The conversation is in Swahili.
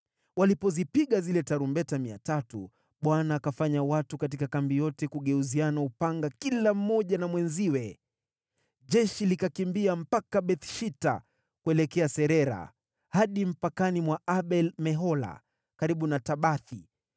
Walipozipiga zile tarumbeta 300, Bwana akafanya watu katika kambi yote kugeuziana upanga kila mmoja na mwenziwe. Jeshi likakimbia mpaka Beth-Shita kuelekea Serera hadi mpakani mwa Abel-Mehola karibu na Tabathi.